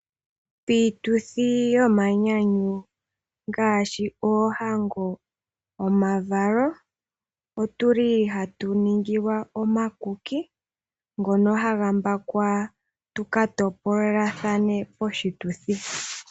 Piituthi yomanyanyu ngaashi yoohango nosho woo omavalo, aantu ohaa landa nenge ya mbake omakuki ngono aantu haya topolelathana eta ya li yo ya nyanyukilwe pamwe.